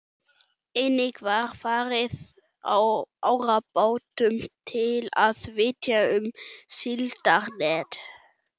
Einnig var farið á árabátum til að vitja um síldarnet.